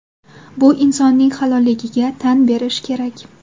Bu insonning halolligiga tan berish kerak.